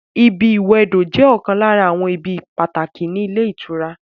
ibi ìwẹdò jẹ́ ọ̀kan lára àwọn ibi pàtàkì ní ilé ìtura